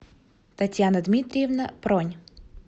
татьяна дмитриевна пронь